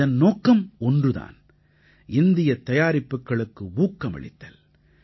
இதன் நோக்கம் ஒன்று தான் இந்தியத் தயாரிப்புக்களுக்கு ஊக்கமளித்தல்